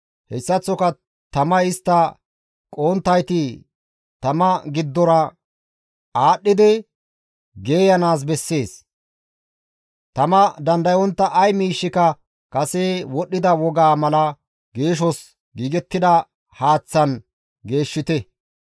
hessaththoka tamay istta qohonttayti tama giddora aadhdhidi geeyanaas bessees; tama dandayontta ay miishshika kase wodhdhida wogaa mala geeshos giigettida haaththan geeshshite.